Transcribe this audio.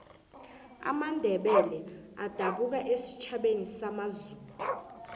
amandebele adabuka esitjhabeni samazulu